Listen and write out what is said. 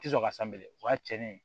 Tɛ sɔn ka o y'a cɛnnen ye